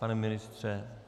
Pane ministře?